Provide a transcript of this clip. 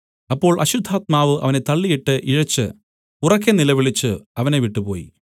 അപ്പോൾ അശുദ്ധാത്മാവ് അവനെ തള്ളിയിട്ട് ഇഴച്ച് ഉറക്കെ നിലവിളിച്ചു അവനെ വിട്ടുപോയി